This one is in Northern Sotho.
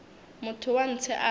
motho wa ntshe a re